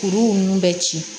Kuruw nun bɛ ci